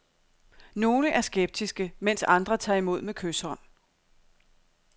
Nogle er skeptiske, mens andre tager imod med kyshånd.